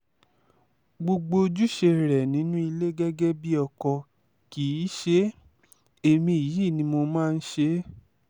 gbogbo ojúṣe rẹ nínú ilé gẹ́gẹ́ bíi ọkọ kì í ṣe é èmi yìí ni mo máa ń ṣe é